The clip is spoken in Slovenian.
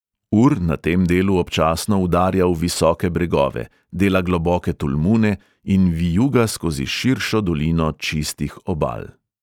Ur na tem delu občasno udarja v visoke bregove, dela globoke tolmune in vijuga skozi širšo dolino čistih obal.